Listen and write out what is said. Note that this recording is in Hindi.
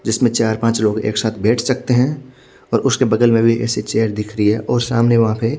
जिसमे चार पाञ्च लोग एक साथ बेठ सकते है और उसके बगल में भी ईएसआई चेयर दिख रही है और सामने वहा पे--